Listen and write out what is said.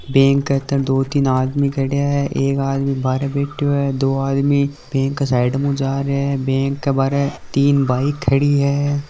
बैंक के अंदर दो तीन आदमी खड्या है एक आदमी बारे बैठ्यो है दो आदमी बैंक के साइड मु जा रिया है बैंक के बारे तीन बाइक खड़ी है।